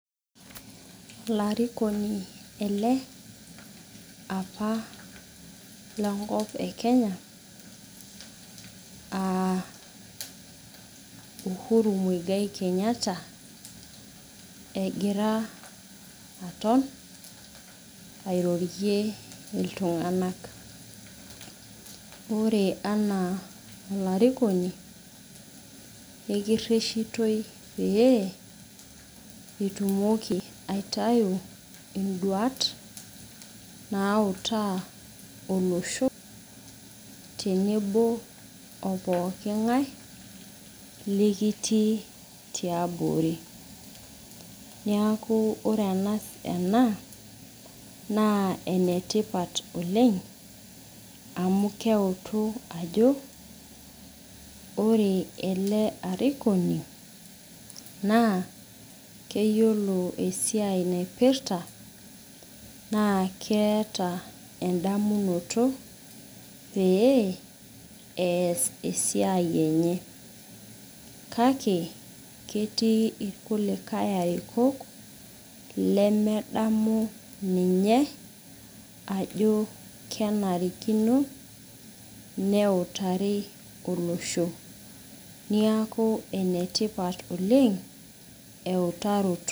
Ilarikoni ele, apa lenkop e Kenya ah Uhuru Muigai Kenyatta, egira aton airorie iltung'anak. Ore anaa olarikoni, ekirreshitoi pee, itumoki aitayu iduat nautaa olosho tenebo o pooking'ae likitii tiabori. Niaku ore ena, naa enetipat oleng, amu keutu ajo, ore ele arikoni naa, keyiolo esiai naipirta, naa keeta edamunoto pee ees esiai enye. Kake ketii irkulikae arikok lemedamu ninye, ajo kenarikino neutari olosho. Niaku enetipat oleng, eutaroto.